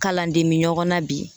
Kalanden bi ɲɔgɔn na bi